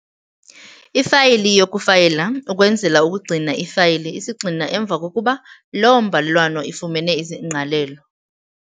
Ifayili YOKUFAYILA ukwenzela ukugcina iifayili isigxina emva kokuba loo mbalelwano ifumene izingqalelo.